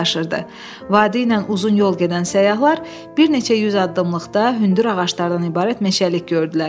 Vadi ilə uzun yol gedən səyyahlar bir neçə yüz addımlıqda hündür ağaclıqlardan ibarət meşəliklə rastlaşdılar.